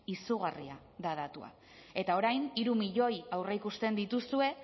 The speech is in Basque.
izugarria da datua eta orain hiru milioi aurreikusi dituzue